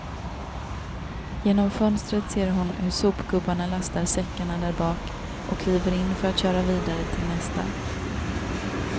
Genom fönstret ser hon hur sopgubbarna lastar säckarna därbak och kliver in för att köra vidare till nästa.